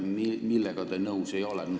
Millega te nõus ei ole?